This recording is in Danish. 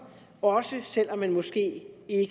også selv om man måske